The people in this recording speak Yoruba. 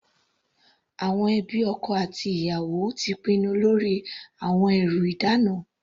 Àwọn ẹbí ọkọ àti ẹbí ìyàwó ti pinnu lórí àwọn ẹrú ìdána.